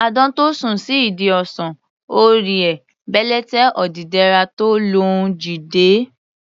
Àdán tó sùn sí ìdí ọsàn, ò rí he, bèlèté odídẹrẹ́ tó lóun jí dé.